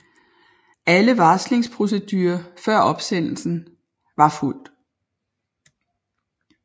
Alle varslingsprocedurer før opsendelsen var fulgt